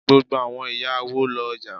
Gbogbo àwọn ìyá awo lo ọ̀já.